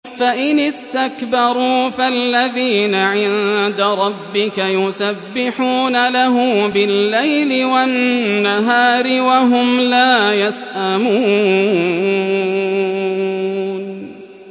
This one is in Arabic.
فَإِنِ اسْتَكْبَرُوا فَالَّذِينَ عِندَ رَبِّكَ يُسَبِّحُونَ لَهُ بِاللَّيْلِ وَالنَّهَارِ وَهُمْ لَا يَسْأَمُونَ ۩